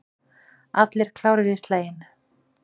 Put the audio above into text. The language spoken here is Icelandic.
Allir klárir í slaginn?